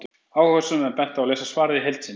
Áhugasömum er bent á að lesa svarið í heild sinni.